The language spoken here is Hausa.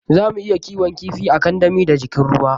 Zamu iya kiwon kifi a kandami da jikin ruwa.